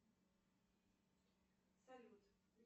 салют